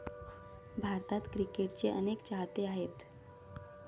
भारतात क्रिकेटचे अनेक चाहते आहेत.